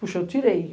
Poxa, eu tirei.